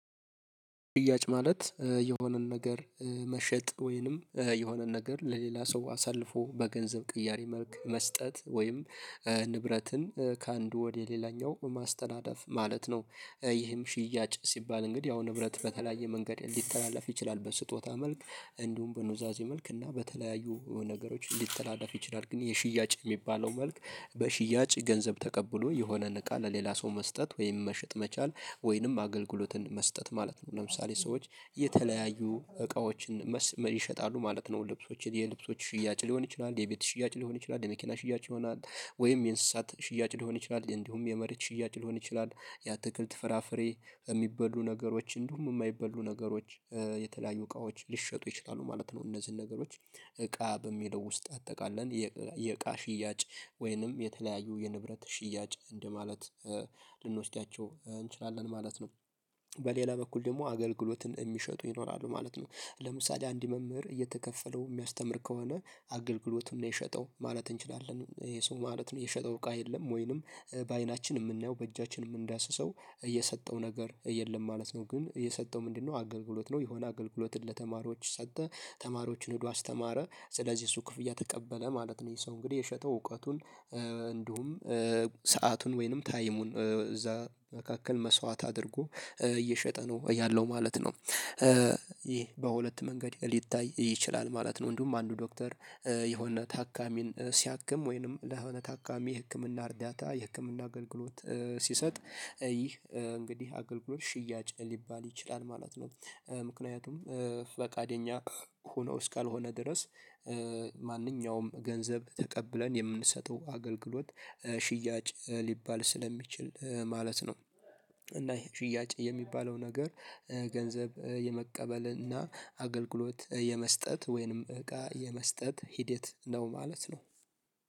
ሽያጭ ማለት የሆነን ነገር መሸጥ ወይንም የሆነን ነገር ለሌላ ሰው አሳልፎ በገንዘብ ቅያሬ መልክ መስጠት ወይም ንብረትን ከአንድ ወደ ሌላኛው ማስተላለፍ ማለት ነው። ይህም ሽያጭ ሲባል እንግዲህ ያው ንብረት በተለያየ መንገድ ሊተላለፍ ይችላል። በስጦታ መልክ እንዲሁም በኑዛዜ መልክ እና በተለያዩ ነገሮች ሊተላለፍ ይችላል። ግን የሽያጭ የሚባለው መልክ በሽያጭ ገንዘብ ተቀብሎ የሆነን እቃ ለሌላ ሰው መስጠት ወይም መሸጥ መቻል ወይንም አገልግሎትን መስጠት ማለት ነው። ለምሳሌ ሰዎች የተለያዩ እቃዎችን ይሸጣሉ ማለት ነው። ልብሶችን የልብሶች ሽያጭ ሊሆን ይችላል፣ የቤት ሽያጭ ሊሆን ይችላል፣ የመኪና ሽያጭ ይሆናል፣ ወይም የእንስሳት ሽያጭ ሊሆን ይችላል፣ እንዲሁም የመሬት ሽያጭ ሊሆን ይችላል፣ የአትክልት፣ ፍራፍሬ የሚበሉ ነገሮች እንዲሁም የማይበሉ ነገሮች የተለያዩ እቃዎች ሊሸጡ ይችላሉ ማለት ነው። እነዚህን ነገሮች እቃ በሚለው ውስጥ አጠቃለን የእቃ ሽያጭ ወይንም የተለያዩ የንብረት ሽያጭ እንደማለት ልንወስዳቸው እንችላለን ማለት ነው። በሌላ በኩል ደግሞ አገልግሎትን የሚሸጡ ይኖራሉ ማለት ነው። ለምሳሌ አንድ መምህር እየተከፈለው የሚያስተምር ከሆነ አገልግሎቱን ነው የሸጠው ማለት እንችላለን። ይሄ ሰው ማለት ነው የሸጠው እቃ የለም። ወይንም በአይናችን የምናየው በእጃችን የምንዳስሰው የሰጠው ነገር የለም ማለት ነው። ግን የሰጠው ምንድነው አገልግሎት ነው። የሆነ አገልግሎትን ለተማሪዎች ሰጠ። ተማሪዎችን ሄዶ አስተማረ። ስለዚህ እሱ ክፍያ ተቀበለ ማለት ነው። ይሄ ሰው እንግዲህ የሸጠው እውቀቱን እንዲሁም ሰአቱን ወይንም ታይሙን እዛ መካከል መስዋዕት አድርጎ እየሸጠ ነው ያለው ማለት ነው። ይሄ በሁለት መንገድ ሊታይ ይችላል ማለት ነው። እንዲሁም አንዱ ዶክተር የሆነ ታካሚን ሲያክም ወይንም ለሆነ ታካሚ ህክምና እርዳታ የህክምና አገልግሎት ሲሰጥ ይህ እንግዲህ አገልግሎት ሽያጭ ሊባል ይችላል ማለት ነው። ምክንያቱም ፈቃደኛ ሆኖ እስካልሆነ ድረስ ማንኛውም ገንዘብ ተቀብለን የምንሰጠው አገልግሎት ሽያጭ ሊባል ስለሚችል ማለት ነው። እና ይሄ ሽያጭ የሚባለው ነገር ገንዘብ የመቀበልና አገልግሎት የመስጠት ወይንም እቃ የመስጠት ሂዴት ነው ማለት ነው።